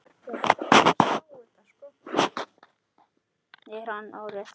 Er hann á réttri leið?